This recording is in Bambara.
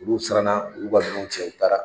Olu siranna u y'u ka minɛnw cɛ u taara